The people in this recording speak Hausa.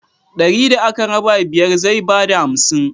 Dari da aka raba biyar zai ba da hamsin.